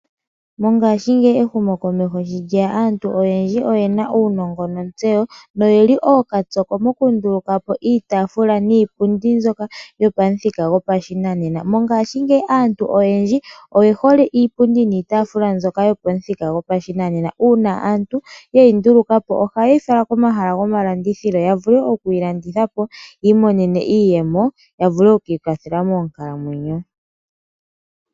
Mongashingeyi ehumokomeho sho lye ya aantu oyendji oye na uunongo nontseyo noye li ookapyoko mokunduluka po iitaafula niipundi mbyoka yopamuthika gopashinanena. Mongashingeyi aantu oyendji oye hole iipundi niitaafula mbyoka yopamuthika gopashinanena. Uuna aantu ye yi nduluka po ohaye yi fala komahala gomalandithilo ya vule okuyi landitha po yi imonene iiyemo ya vule oku ikwathela moonkalamwenyo.